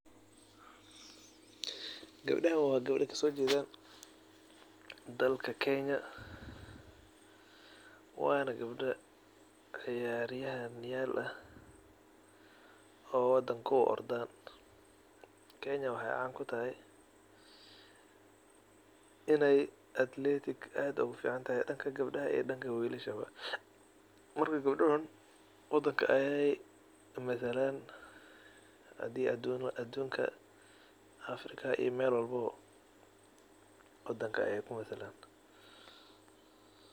Gabdahan wa gabdo kasojedan wadanka kenya wana gabdo ciyaryahan ah oo wadanka uu ordo. Kenya waxay caan kutahay in ey athletic aad ogufican tahay danka gabdaha marka gabdahan wadanka ayey matalan afrika iyo wadanka ayey kumatalan.